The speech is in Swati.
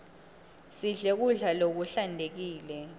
sidle kudla lokuhlantekile